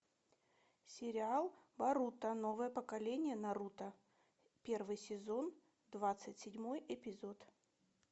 сериал боруто новое поколение наруто первый сезон двадцать седьмой эпизод